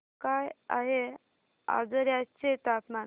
काय आहे आजर्याचे तापमान